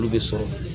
Olu bɛ sɔrɔ